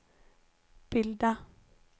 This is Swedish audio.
bilda